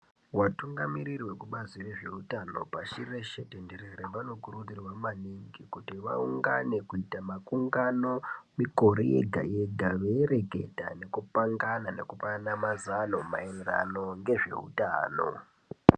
Vatungamiriri vekubazi rezvezveutano pashireshe tenderere vanokurudzirwa maningi kuti vaungane kuite makungano mikore yega-yega, veireketa nekupangana nekupanana mazano maererano nezveutano.